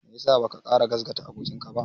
Me ya sa baka ƙara gasgata abokinka ba?